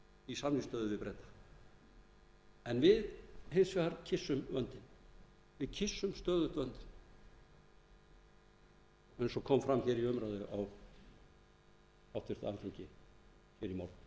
í samningsstöðu við breta en við hins vegar kyssum vöndinn við kyssum stöðugt vöndinn eins og kom fram í umræðunni á háttvirtu alþingi í morgun það